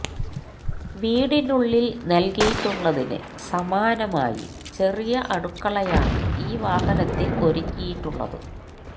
വീടിനുള്ളില് നല്കിയിട്ടുള്ളതിന് സമാനമായി ചെറിയ അടുക്കളയാണ് ഈ വാഹനത്തില് ഒരുക്കിയിട്ടുള്ളത്